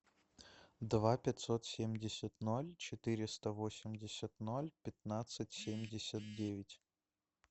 два пятьсот семьдесят ноль четыреста восемьдесят ноль пятнадцать семьдесят девять